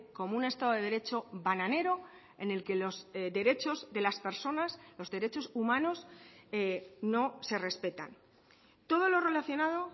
como un estado de derecho bananero en el que los derechos de las personas los derechos humanos no se respetan todo lo relacionado